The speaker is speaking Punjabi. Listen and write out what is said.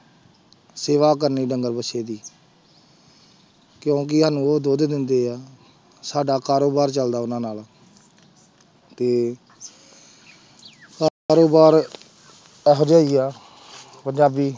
ਸੇਵਾ ਕਰਨੀ ਡੰਗਰ ਵੱਛੇ ਦੀ ਕਿਉਂਕਿ ਸਾਨੂੰ ਉਹ ਦੁੱਧ ਦਿੰਦੇ ਹੈ, ਸਾਡਾ ਕਾਰੋਬਾਰ ਚੱਲਦਾ ਉਹਨਾਂ ਨਾਲ ਤੇ ਇਹੋ ਜਿਹਾ ਹੀ ਆ ਪੰਜਾਬੀ।